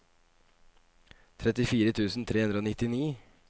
trettifire tusen tre hundre og nittini